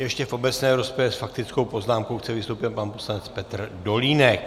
Ještě v obecné rozpravě s faktickou poznámkou chce vystoupit pan poslanec Petr Dolínek.